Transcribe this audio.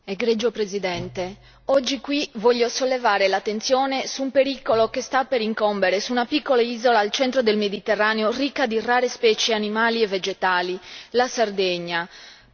Signor Presidente, onorevoli colleghi, oggi qui voglio sollevare l'attenzione su un pericolo che sta per incombere su una piccola isola al centro del Mediterraneo, ricca di rare specie animali e vegetali la Sardegna.